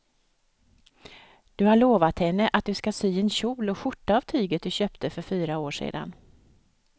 Du har lovat henne att du ska sy en kjol och skjorta av tyget du köpte för fyra år sedan.